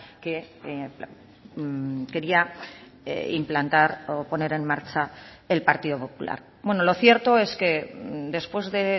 que quería implantar o poner en marcha el partido popular lo cierto es que después de